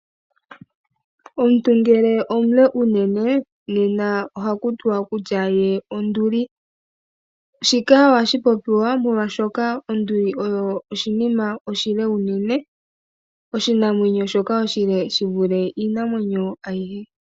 Omuntu ngele omule uunene. Nena ohaku tiwa kutya ye onduli. Shika ohashi shi popiwa molwaashoka onduli oyo oshinima oshile unene. Oshinamwenyo shoka oshile shi vule iinamwenyo ayihe.